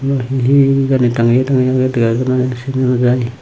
ibot he he hijeni tangeyi tangeyi guri dega nw jiy sine nw jiy.